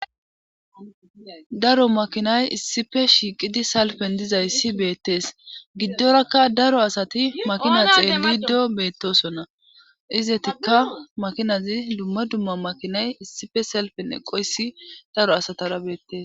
daro makinay issife shiiqidi salpen dizayssi beettees giddorakka daro asati makina xeelli gddo beettosonna izetikka makinazi dumma dumma makinay issife salpen eqoysi daro asatara beettees